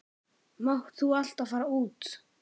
Máttu þá alltaf fara út?